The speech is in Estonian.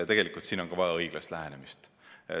Tegelikult on ka siin vaja õiglast lähenemist.